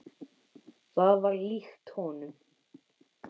Það var líkt honum.